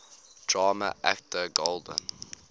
drama actor golden